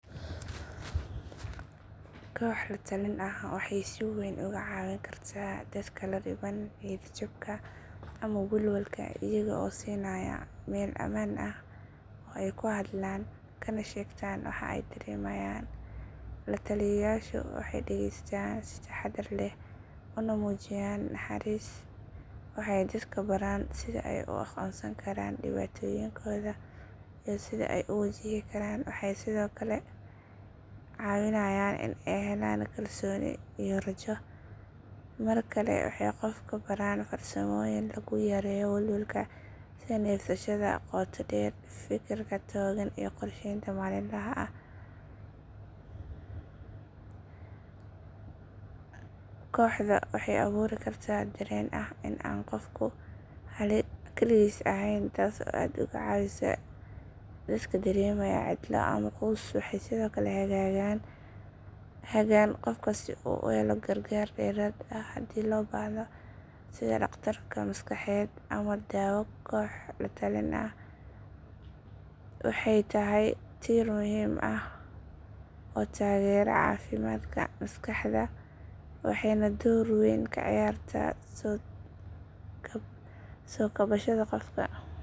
koox latalin ax wexey si weyn oga cawin karta dadka ladiban niyad jabka ama walwalka iyagoo siinaya mel amaan ax oo ey kuxadlaan kana shegtaan waxa ey daremayaan. lataliyayaasha wexey dageystaan si taxadar leh una muujiyaan naxaris, wexey dadka baraan sidha ey uaqonsan karaan dibaatoyinkoda iyo sidha ey u wajihi karaan, wexey sidhookale cawinayaan in ey xelaan kalsoni iyo rajo. markale wexey qofka baraan farsamoyin laguyareeyo walwalka sidha nefsashadha qoota deer, fikirka toogan iyo qorsheynta malimaxa ax. Kooxda wey awuuri karta dareen ax in an qofku kaligis axaey taas aa aad oga cawisaa liska dareemaya cidla ama kuusoxi sidokale hagaan qofka sidhuu uxela gargaar deraad ax hadii lobaxda sidha daqtar maskaxaad ama dawa koox latalin ax. Wexey taxy tiir muxiim ax oo tagera cafimadka maskaxda waxeyna door weyn kaciyarta sokabashada qofka.